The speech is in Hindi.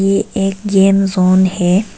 ये एक गेम जॉन है।